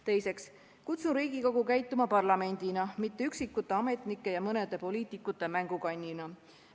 Teiseks kutsun Riigikogu käituma parlamendina, mitte üksikute ametnike ja mõne poliitiku mängukannina.